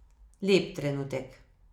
Lep trenutek.